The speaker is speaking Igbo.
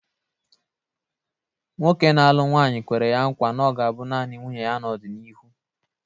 Nwoke na-alụ nwanyị kwere ya nkwa na ọ ga-abụ nanị nwunye ya n'ọdịnihu.